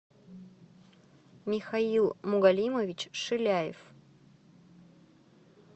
михаил мугалимович шиляев